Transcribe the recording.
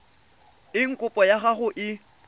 eng kopo ya gago e